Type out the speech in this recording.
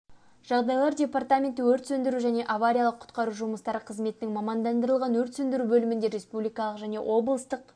жағдайлар департаменті өрт сөндіру және авариялық-құтқару жұмыстары қызметінің мамандандырылған өрт сөндіру бөлімінде республикалық және облыстық